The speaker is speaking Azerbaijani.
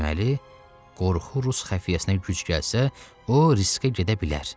Deməli, qorxu rus xəfiyyəsinə güc gəlsə, o riskə gedə bilər.